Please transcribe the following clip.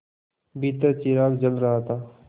भीतर चिराग जल रहा था